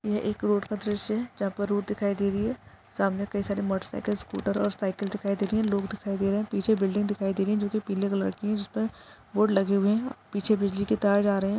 यह एक रोड का दृश्य है जहाँ पर रोड दिखाई दे रही है सामने काई सारे मोटर साइकल्स स्कूटर और साईकल्स दिखाई दे रही है लोग दिखाई दे रहे पीछे बिल्डिंग दिखाई दे रही जो कि पीले कलर की है जिसपे बोर्ड लगे हुए है पीछे बिजली के तार जा रहे है।